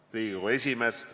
Tänan Riigikogu esimeest!